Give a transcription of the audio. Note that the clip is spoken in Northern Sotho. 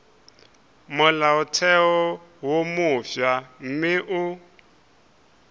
molaotheo wo mofsa mme o